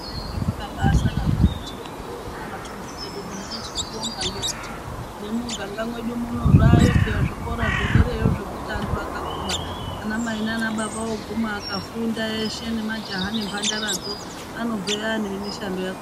Kwainga kwakabaasara zvako Chipinge uno kumatundu kwedu uno, hino tinobonga ngekuti nemumiganga mwedu munozvaayo pheyani zvikora zvedereyo, zvekuti anthu akaguma anamai naanababa ooguma akafunda eshe nemajaha nembhandara dzo anobveyo aane mishando yakhona